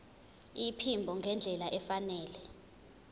iphimbo ngendlela efanele